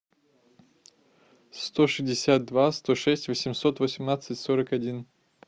сто шестьдесят два сто шесть восемьсот восемнадцать сорок один